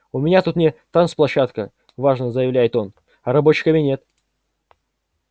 у меня тут не танцплощадка важно заявляет он а рабочий кабинет